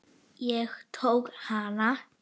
Ég tók hana.